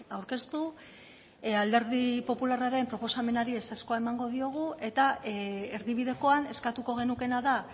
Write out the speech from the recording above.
aurkeztu alderdi popularraren proposamenari ezezkoa emango diogu eta erdibidekoan eskatuko genukeena da